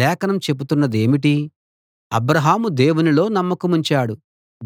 లేఖనం చెబుతున్నదేమిటి అబ్రాహాము దేవునిలో నమ్మకముంచాడు